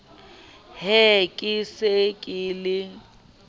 he ke se ke le